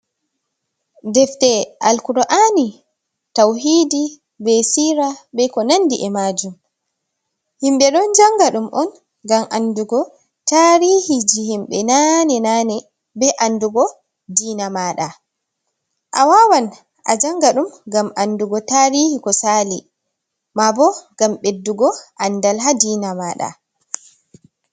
Deftee al'kurani tauhidi, be sira be ko nandi e majum, himɓɓe ɗon janga ɗum on ngam andugo tarihi ji himɓɓe nane nane, be andugo diina maɗa, a wawan a janga ɗum ngam andugo tarihi ko sali, ma bo ngam ɓeddugo andal ha dina maɗa.